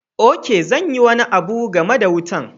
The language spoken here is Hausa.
Ok, zan yi wani abu game da wutan.